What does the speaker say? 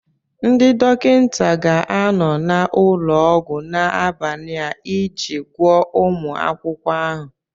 Ndị dọkịta ga-anọ n'ụlọọgwụ n'abalị a iji gwọọ ụmụ akwụkwọ ahụ.